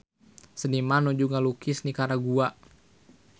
Seniman nuju ngalukis Nikaragua